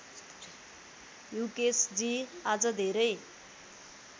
युकेशजी आज धेरै